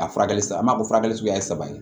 A furakɛli sa an b'a fɔ furakɛli suguya ye saba ye